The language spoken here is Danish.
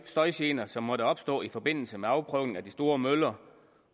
støjgener som måtte opstå i forbindelse med afprøvningen af de store møller